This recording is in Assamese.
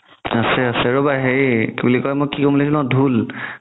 আছে আছে ৰ'বা হেৰি কি বুলি কই মই কি বুলি ক'ম বুলি ভবিছিলো মই ধুল